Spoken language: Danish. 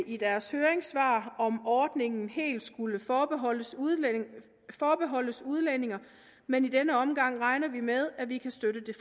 i deres høringssvar om ordningen helt skulle forbeholdes udlændinge forbeholdes udlændinge men i denne omgang regner vi med at vi kan støtte